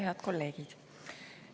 Head kolleegid!